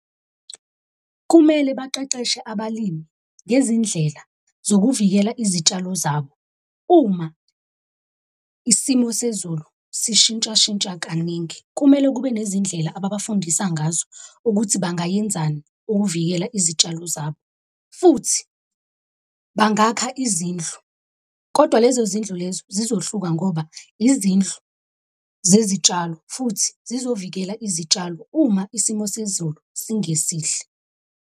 Kumele baqeqeshe abalimi ngezindlela zokuvikela izitshalo zabo. Uma isimo sezulu sishintshashintsha kaningi, kumele kube nezindlela ababafundisa ngazo ukuthi bangayenzani ukuvikela izitshalo zabo futhi bangakha izindlu, kodwa lezo zindlu lezo zizohluka ngoba izindlu zezitshalo futhi zizovikela izitshalo uma isimo sezulu singesihle.